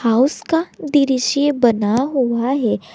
House का दृश्य बना हुआ है।